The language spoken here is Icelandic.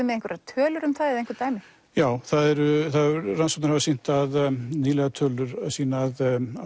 með einhverjar tölur um það eða einhver dæmi já rannsóknir hafa sýnt að nýlegar tölur sýna að